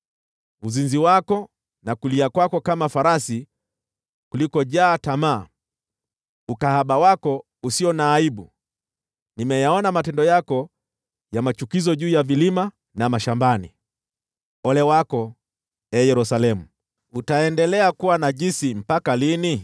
uzinzi wako na kulia kwako kama farasi kulikojaa tamaa, ukahaba wako usio na aibu! Nimeyaona matendo yako ya machukizo juu ya vilima na mashambani. Ole wako, ee Yerusalemu! Utaendelea kuwa najisi mpaka lini?”